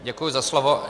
Děkuji za slovo.